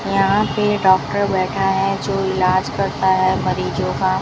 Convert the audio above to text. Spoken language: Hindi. यहां पे ये डॉक्टर बैठा है जो इलाज करता है मरीजों का।